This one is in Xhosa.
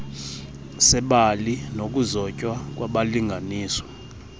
sebali nokuzotywa kwabalinganiswa